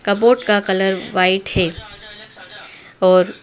cupboard का colour white है और--